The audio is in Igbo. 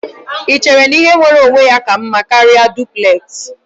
Ị chere na ihe nwere onwe ya ka mma karịa duplex?